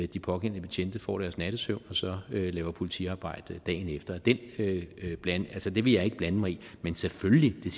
de pågældende betjente får deres nattesøvn og så laver politiarbejde dagen efter det vil jeg ikke blande mig i men selvfølgelig ville